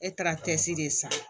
E taara cɛsiri de san